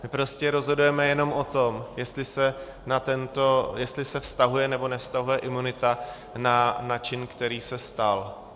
My prostě rozhodujeme jenom o tom, jestli se vztahuje nebo nevztahuje imunita na čin, který se stal.